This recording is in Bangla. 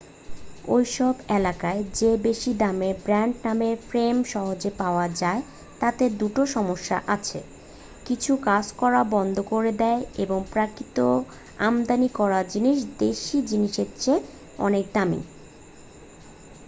ওই সব এলাকায় যে বেশী দামের ব্র‍্যান্ড নামের ফ্রেম সহজে পাওয়া যায় তাতে 2 টো সমস্যা আছে; কিছু কাজ করা বন্ধ করে দেয় এবং প্রকৃত আমদানি করা জিনিস দেশী জিনিসের চেয়ে অনেক দামী।